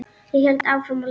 Ég hélt áfram að lesa.